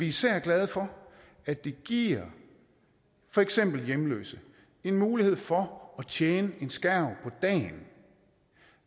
især glade for at det giver for eksempel hjemløse en mulighed for at tjene en skærv på dagen